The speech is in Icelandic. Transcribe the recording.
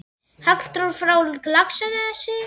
Halldór frá Laxnesi?